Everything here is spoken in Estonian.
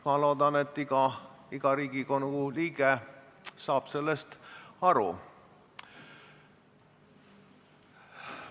Ma loodan, et iga Riigikogu liige saab sellest aru.